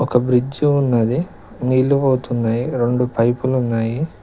ఒక బ్రిడ్జు ఉన్నది నీళ్ళు పోతున్నయి రెండు పైపులు ఉన్నాయి.